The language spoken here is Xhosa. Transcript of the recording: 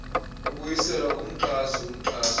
ibuyiselwa kumxhasi umxhasi